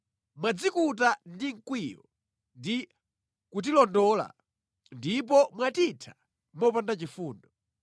“Mwadzikuta ndi mkwiyo ndi kutilondola ndipo mwatitha mopanda chifundo.